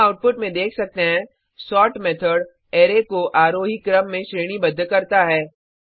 हम आउटपुट में देख सकते हैं सोर्ट मेथड अराय को आरोही क्रम में श्रेणीबद्ध करता है